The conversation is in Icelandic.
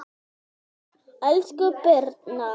Elsku Birna